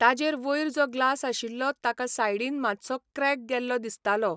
ताजेर वयर जो ग्लास आशिल्लो ताका सायडीन मातसो क्रॅक गेल्लो दिसतालो.